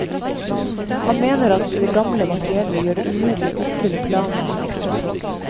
Han mener at det gamle materiellet gjør det umulig å oppfylle planene for ekstratog.